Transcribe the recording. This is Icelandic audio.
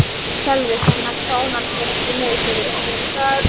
Átti maður að gefa þessum leikmanni eistlands gjöf?